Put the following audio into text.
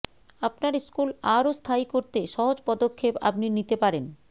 আপনার স্কুল আরও স্থায়ী করতে সহজ পদক্ষেপ আপনি নিতে পারেন